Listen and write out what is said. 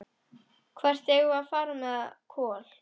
Hvert eigum við að fara með Kol?